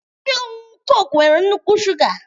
Ihe ọṅụṅụ Coke nwere nnukwu shuga